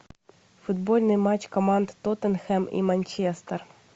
футбольный матч команд тоттенхэм и манчестер